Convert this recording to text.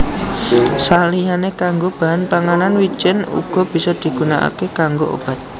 Saliyané kanggo bahan panganan wijèn uga bisa digunakaké kanggo obat